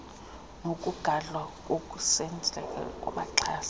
nokugadwa kokusemdleni wabaxhasi